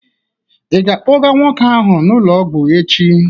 Ị ga-akpọga nwoke ahụ n'ụlọ ọgwụ echi?